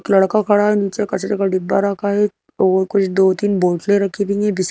एक लड़का खड़ा है नीचे कचरे का डिब्बा रखा है और कुछ दो तीन बोतले राखी हुईं हैं बी--